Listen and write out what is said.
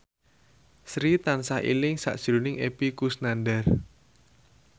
Sri tansah eling sakjroning Epy Kusnandar